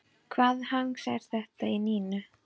Hvaða hangs er þetta í Nínu?